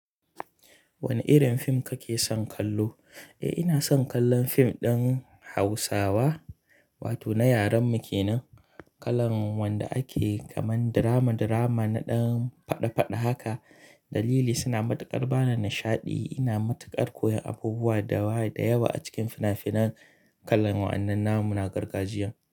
Wane irin fim kake son kallo? Eh, ina son kallon fim ɗin Hausawa, wato na yaren mu kenan. Kalar wanda ake kamar drama drama na ɗan faɗa faɗa haka. Dalili, suna matuƙar ba ni nishaɗi. Ina matuƙar koyan abubuwa da yawa a cikin fina-finan kalar wannan. Na mu na gargajiya.